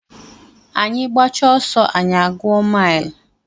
Anyị gbachaa ọsọ anyị a gụọ mile